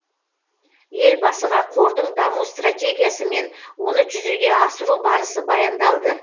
елбасыға қордың даму стратегиясы мен оны жүзеге асыру барысы баяндалды